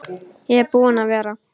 Ég er búinn að vera.